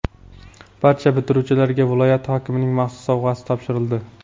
barcha bitiruvchilarga viloyat hokimining maxsus sovg‘asi topshirildi.